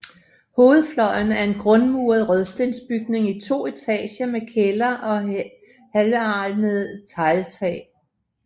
Hovedfløjen er en grundmuret rødstensbygning i to etager med kælder og helvalmet tegltag